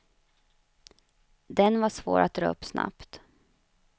Den var svår att dra upp snabbt.